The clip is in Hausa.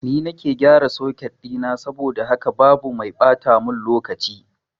Ni nake gyaran soket ɗina saboda haka babu mai ɓata mun lokaci